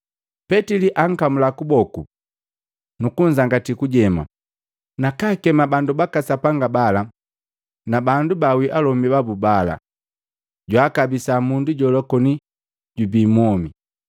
Petili akamula kuboku nukunzangatiya kujema, nakaakema bandu baka Sapanga bala na bandu baawii alomi babu bala, jwaakabisa mundu jola koni jubi mwomi.